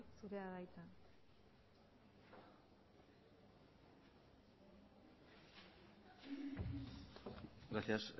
zurea da hitza gracias